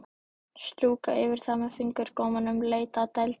Strjúka yfir það með fingurgómunum, leita að dældinni.